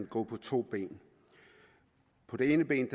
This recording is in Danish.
gå på to ben det ene ben